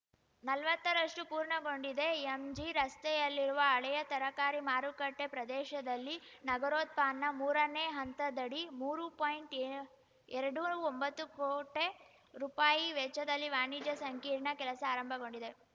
ನಲ್ವತ್ತ ರಷ್ಟುಪೂರ್ಣಗೊಂಡಿದೆ ಎಂಜಿ ರಸ್ತೆಯಲ್ಲಿರುವ ಹಳೆಯ ತರಕಾರಿ ಮಾರುಕಟ್ಟೆಪ್ರದೇಶದಲ್ಲಿ ನಗರೋತ್ಥಾನ ಮೂರನೇ ಹಂತದಡಿ ಮೂರು ಪಾಯಿಂಟ್ಎ ಎರಡು ಒಂಬತ್ತು ಕೋಟೆ ರುಪಾಯಿ ವೆಚ್ಚದಲ್ಲಿ ವಾಣಿಜ್ಯ ಸಂಕೀರ್ಣ ಕೆಲಸ ಆರಂಭಗೊಂಡಿದೆ